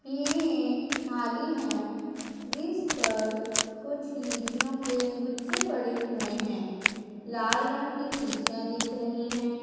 ये एक थाली है जिस पर कुछ लीचियों के गुच्छे पड़े हुए हैं लाल रंग की लीचियां दिख रही हैं।